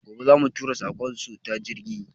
Gobe za mu tura masu saƙon su ta jirgi